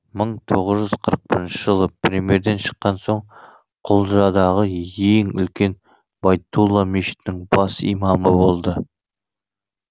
мың тоғыз жүз қырық бірінші жылы түрмеден шыққан соң құлжадағы ең үлкен байтулла мешітінің бас имамы болды